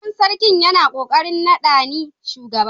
Sabon sarki yana kokarin nada ni shugaba.